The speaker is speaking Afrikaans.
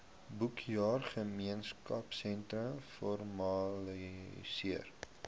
boekjaar gemeenskapsteun formaliseer